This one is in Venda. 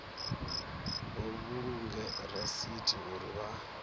vha vhulunge rasithi uri vha